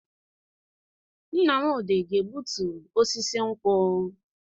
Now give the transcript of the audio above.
Nnamdi na-egbutu osisi nkwu.